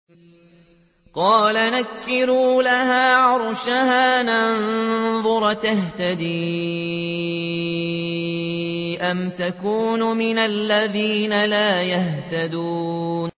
قَالَ نَكِّرُوا لَهَا عَرْشَهَا نَنظُرْ أَتَهْتَدِي أَمْ تَكُونُ مِنَ الَّذِينَ لَا يَهْتَدُونَ